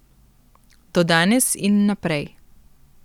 Do danes in naprej.